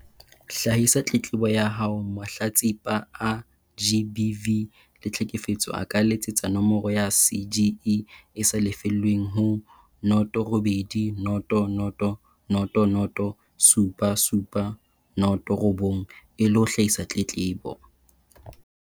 Hlahisa tletlebo ya haoMahlatsipa a GBV le tlheke fetso a ka letsetsa nomoro ya CGE e sa lefellweng ho noto robedi noto noto noto noto supa supa noto robong e le ho hlahisa tletlebo.